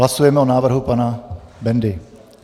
Hlasujeme o návrhu pana Bendy.